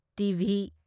T. V